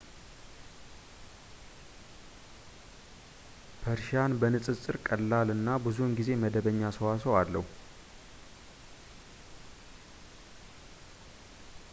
ፐርዢያን በንፅፅር ቀላል እና ብዙውን ጊዜ መደበኛ ሰዋስው አለው